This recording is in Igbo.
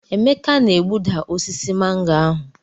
Emeka na egbuda osisi mango ahụ.